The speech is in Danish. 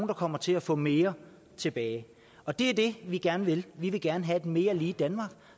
der kommer til at få mere tilbage og det er det vi gerne vil vi vil gerne have et mere lige danmark